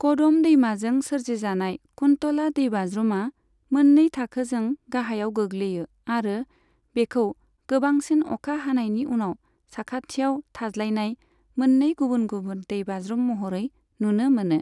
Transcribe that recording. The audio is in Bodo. कदम दैमाजों सोरजिजानाय, कुन्तला दैबाज्रुमा मोन्नै थाखोजों गाहायाव गोग्लैयो आरो बेखौ गोबांसिन अखा हानायनि उनाव साखाथियाव थाज्लायनाय मोन्नै गुबुन गुबुन दैबाज्रुम महरै नुनो मोनो।